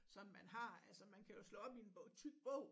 Som man har altså man kan jo slå op i en tyk bog